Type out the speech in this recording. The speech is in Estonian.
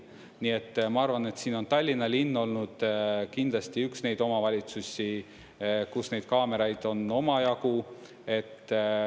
Nii et ma arvan, et siin on Tallinna linn olnud kindlasti üks neid omavalitsusi, kus neid kaameraid on omajagu.